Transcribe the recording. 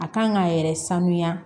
A kan k'a yɛrɛ sanuya